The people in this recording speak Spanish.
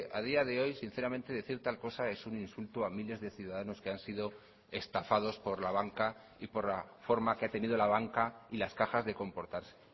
a día de hoy sinceramente decir tal cosa es un insulto a miles de ciudadanos que han sido estafados por la banca y por la forma que ha tenido la banca y las cajas de comportarse